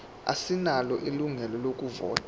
asinalo ilungelo lokuvota